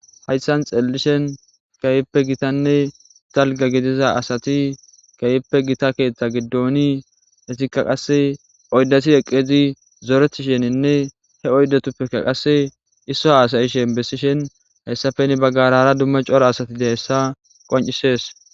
Hayssan xeellishen kayppe gitanne dalga gidiza asati kehppe gita keeththa giddooni etikka qase oydati eqqezi zoretisheninne he oydatuppekka qase isso asayishen bessishen hayssafeni baggarara dumme cora asatide hessa qoncisees